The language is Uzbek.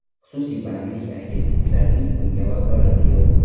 Xususiy bandlik agentliklarining bunga vakolati yo‘q.